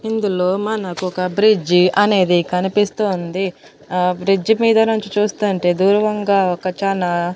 ఇందులో మనకొక బ్రిడ్జి అనేది కనిపిస్తోంది అ బ్రిడ్జ్ మీద నుంచి చూస్తుంటే దూరంగా ఒక చానా--